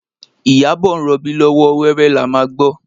Iyabọ̀ ń rọbí lọ́wọ́, wẹ́rẹ́ la máa gbọ́